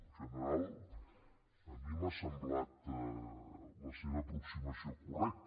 en general a mi m’ha semblat la seva aproximació correcta